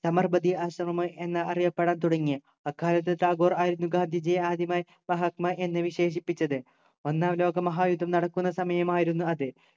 സബർമതി ആശ്രമമായ് എന്ന അറിയപ്പെടാൻ തുടങ്ങി അക്കാലത്തു ടാഗോർ ആയിരുന്നു ഗാന്ധിജിയെ ആദ്യമായി മഹാത്മാ എന്ന് വിശേഷിപ്പിച്ചത് ഒന്നാം ലോക മഹായുദ്ധം നടക്കുന്ന സമയമായിരുന്നു അത്